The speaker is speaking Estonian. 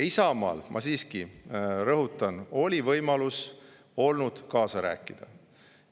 Isamaal, ma siiski rõhutan, oli võimalus kaasa rääkida.